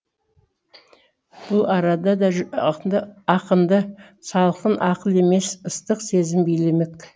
бұл арада да ақынды салқын ақыл емес ыстық сезім билемек